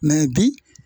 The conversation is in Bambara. bi